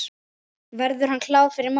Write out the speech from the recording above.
Verður hann klár fyrir mót?